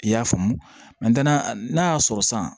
I y'a faamu n'a y'a sɔrɔ san